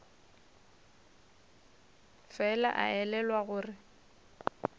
fela a elelwa gore o